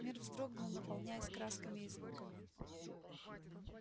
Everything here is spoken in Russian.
мир вздрогнул наполняясь красками и звуками